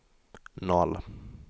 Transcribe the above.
noll